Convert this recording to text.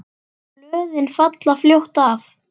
Blöðin falla fljótt af.